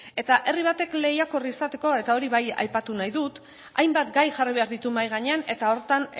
eta herri batek lehiakor izateko eta hori bai aipatu nahi dut hainbat gai jarri behar ditu mahai gainean eta horretan